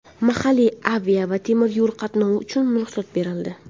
Mahalliy avia va temir yo‘l qatnovi uchun ruxsat berildi.